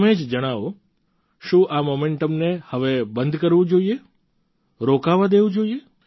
તમે જ જણાવો શું આ મોમેન્ટમને હવે બંધ કરવું જોઈએ રોકાવા દેવું જોઈએ